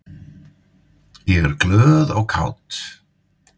Ég er glöð og kát.